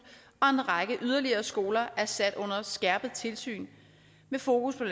og en række yderligere skoler er sat under skærpet tilsyn med fokus på